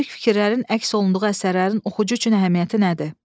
Müdrik fikirlərin əks olunduğu əsərlərin oxucu üçün əhəmiyyəti nədir?